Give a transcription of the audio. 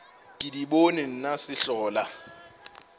ke di bone nna sehlola